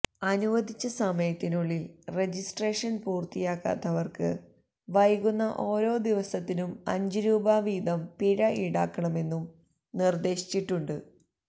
അനുവദിച്ച സമയത്തിനുള്ളില് രജിസ്ട്രേഷന് പൂര്ത്തിയാക്കാത്തവര്ക്ക് വൈകുന്ന ഓരോ ദിവസത്തിനും അഞ്ച് രൂപ വീതം പിഴ ഈടാക്കണമെന്നും നിർദ്ദേശിച്ചിട്ടുണ്ട്